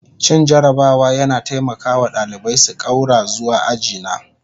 Cin jarabawa yana taimaka wa ɗalibai su ƙaura zuwa aji na